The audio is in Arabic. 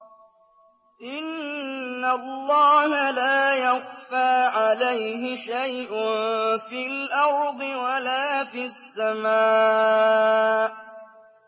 إِنَّ اللَّهَ لَا يَخْفَىٰ عَلَيْهِ شَيْءٌ فِي الْأَرْضِ وَلَا فِي السَّمَاءِ